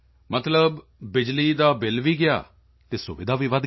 ਮਤਲਬ ਬਿਜਲੀ ਦਾ ਬਿਲ ਵੀ ਗਿਆ ਅਤੇ ਸੁਵਿਧਾ ਵਧ ਗਈ